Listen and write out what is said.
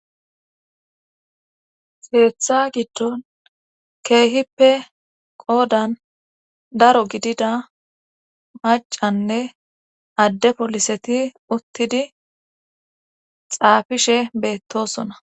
seeththa giddon keehippe qoodan daro gidida macanne adde poliseti uttidi xaafishe beettosona